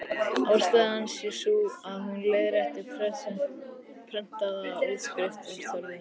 Ástæðan sé sú, að hún leiðrétti prentaða útskrift úr tölvunni.